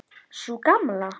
Sú Gamla?